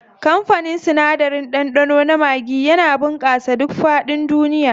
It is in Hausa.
Kamfanin sinadarin ɗanɗano na maggi ya bunƙasa a duk faɗin duniya.